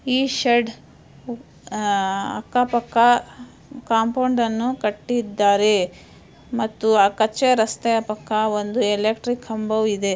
ಈ ಶೆಡ್ ಅಹ್ ಅಕ್ಕಾ ಪಕ್ಕಾ ಕಾಂಪೌಂಡ್ ಅನ್ನು ಕಟ್ಟಿದ್ದಾರೆ. ಮತ್ತು ಆ ಕಚ್ಚೆ ರಸ್ತೆಯ ಪಕ್ಕಾ ಒಂದು ಎಲೆಕ್ಟ್ರಿಕ್ ಕಂಬವು ಇದೆ.